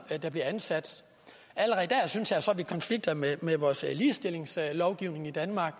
der bliver ansat allerede dér synes jeg så at vi konflikter med med vores ligestillingslovgivning i danmark